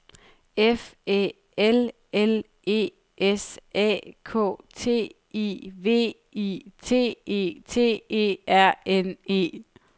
F Æ L L E S A K T I V I T E T E R N E